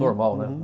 Normal, né?